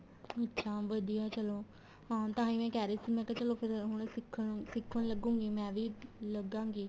ਅੱਛਾ ਵਧੀਆ ਚਲੋਂ ਹਾਂ ਤਾਂਹੀ ਮੈਂ ਕਹਿ ਰਹੀ ਸੀ ਮੈਂ ਕਿਹਾ ਚਲੋਂ ਫ਼ਿਰ ਹੁਣ ਸਿੱਖਣ ਸਿੱਖਣ ਲੱਗੂਗੀ ਮੈਂ ਵੀ ਲੱਗਾ ਗਈ